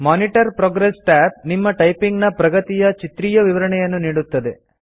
monitor progress tab ನಿಮ್ಮ typing ನ ಪ್ರಗತಿಯ ಚಿತ್ರೀಯ ವಿವರಣೆಯನ್ನು ನೀಡುತ್ತದೆ